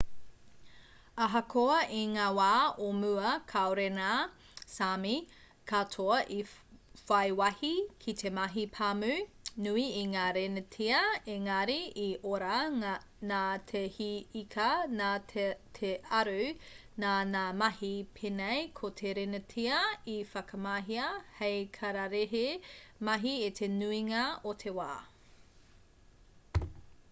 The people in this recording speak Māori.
ahakoa i ngā wā o mua kāore ngā sāmi katoa i whai wāhi ki te mahi pāmu nui i ngā renetia ēngari i ora nā te hī ika nā te aru nā ngā mahi pēnei ko te renetia i whakamahia hei kararehe mahi i te nuinga o te wā